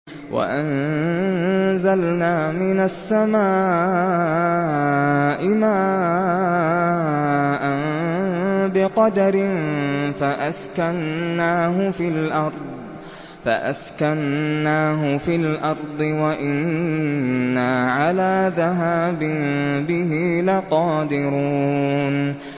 وَأَنزَلْنَا مِنَ السَّمَاءِ مَاءً بِقَدَرٍ فَأَسْكَنَّاهُ فِي الْأَرْضِ ۖ وَإِنَّا عَلَىٰ ذَهَابٍ بِهِ لَقَادِرُونَ